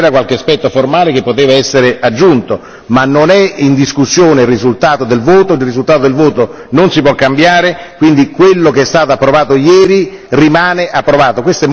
C'era qualche aspetto formale che poteva essere aggiunto, ma non è in discussione il risultato del voto, il risultato del voto non si può cambiare, quindi quello che è stato approvato ieri rimane approvato.